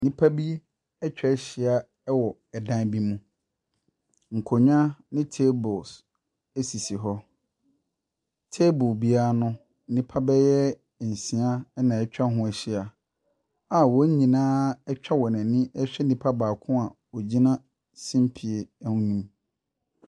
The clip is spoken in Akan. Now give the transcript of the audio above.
Nnipa bi atwa ahyia wɔ dan bi mu. Nkonnwa ne tables sisi hɔ. Table biara no, nnipa bɛyɛ nsia na atwa ho ahyia a wɔn nyinaa atwa wɔn ani ɛrehwɛ nipa baako a ogyina simpie ho ne mu.